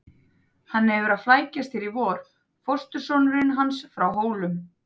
Hann hefur verið að flækjast hér í vor, fóstursonurinn hans frá Hólum.